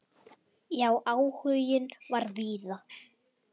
Já, áhuginn var víða.